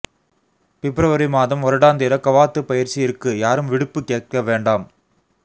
பிப்ரவரி மாதம் வருடாந்திர கவாத்து பயிற்சி இருக்கு யாரும் விடுப்பு கேட்க வேண்டாம்